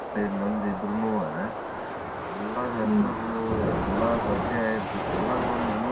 ಮೂವತೈದ್ ಮಂದಿ ಇದ್ರುನೂ ಎಲ್ಲಾರ್ ಹೆಸರು ಎಲ್ಲಾ ಪರಿಚಯ ಇರ್ತಿತ್ತು. ಇವಾಗ್ ಒಂದ್ ಮನಿ.